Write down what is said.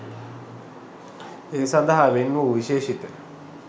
ඒ සඳහා වෙන් වූ විශේෂිත